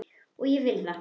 Og vill það.